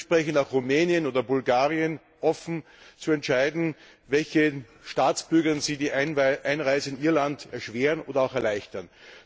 Es steht dementsprechend auch Rumänien oder Bulgarien offen zu entscheiden, welchen Staatsbürgern sie die Einreise in ihr Land erschweren oder auch erleichtern.